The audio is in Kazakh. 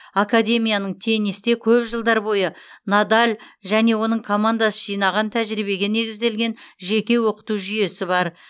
академияның теннисте көп жылдар бойы надаль және оның командасы жинаған тәжірибеге негізделген жеке оқыту жүйесі бар